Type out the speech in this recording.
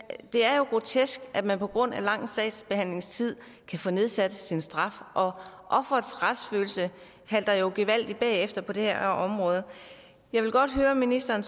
er jo grotesk at man på grund af lang sagsbehandlingstid kan få nedsat sin straf og offerets retsfølelse halter jo gevaldigt bagefter på det her område jeg vil godt høre ministeren